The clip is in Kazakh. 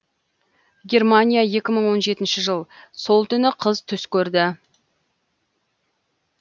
германия екі мың он жетінші жыл сол түні қыз түс көрді